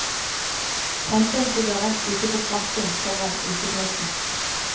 Tente en sigarett ute på krakken foran utepeisen.